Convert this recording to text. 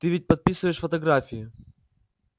ты ведь подписываешь фотографии